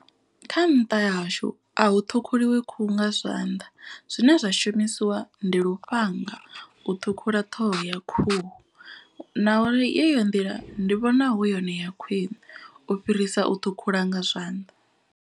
Kha nṱha ha hashu a hu ṱhukhuliwa khuhu nga zwanḓa zwine zwa shumisiwa ndi lufhanga. U ṱhukhula ṱhoho ya khuhu na uri yeyo nḓila ndi vhona hu yone ya khwiṋe u fhirisa u ṱhukhula nga zwanḓa.